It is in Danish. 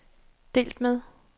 delt med